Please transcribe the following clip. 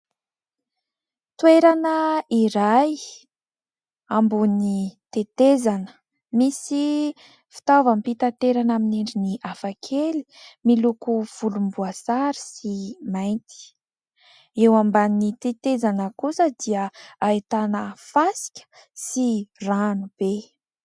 Toerana iray ! Ambony tetezana misy fitaovam-pitanterana amin'ny endriny hafakely : miloko volomboasary sy mainty. Eo amban'ny tetezana kosa dia ahitana fasika sy ranobe.